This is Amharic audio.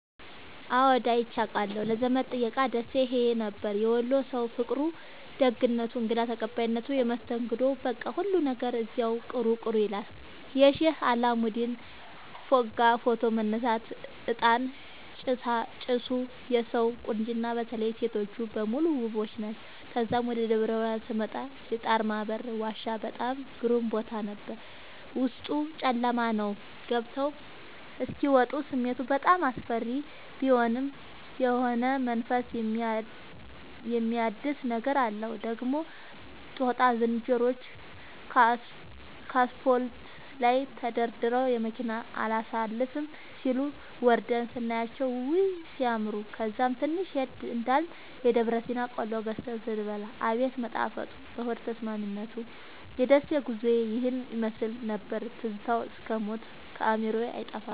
አዎድ አይቼ አቃለሁ ለዘመድ ጥየቃ ደሴ ኸሄ ነበር። የወሎ ሠዉ ፍቅሩ፣ ደግነቱ፣ እንግዳ ተቀባይነቱ መስተንግዶዉ በቃ ሁሉ ነገሩ እዚያዉ ቅሩ ቅሩ ይላል። የሼህ አላሙዲን ፎቅጋ ፎቶ መነሳት፤ እጣን ጭሣጭሡ የሠዉ ቁንጅና በተለይ ሤቶቹ በሙሉ ዉቦች ናቸዉ። ተዛም ወደ ደብረብርሀን ስመጣ የጣርማበር ዋሻ በጣም ግሩም ቦታ ነበር፤ ዉስጡ ጨለማ ነዉ ገብተዉ እስኪ ወጡ ስሜቱ በጣም አስፈሪ ቢሆንም የሆነ መንፈስን የሚያድስ ነገር አለዉ። ደግሞ ጦጣ ዝንሮዎቹ ከአስፓልቱ ላይ ተደርድረዉ መኪና አላሣልፍም ሢሉ፤ ወርደን ስናያቸዉ ዉይ! ሢያምሩ። ከዛም ትንሽ ሄድ እንዳልን የደብረሲና ቆሎ ገዝተን ስንበላ አቤት መጣፈጡ ለሆድ ተስማሚነቱ። የደሴ ጉዞዬ ይህን ይመሥል ነበር። ትዝታዉ እስክ ሞት ከአዕምሮየ አይጠፋም።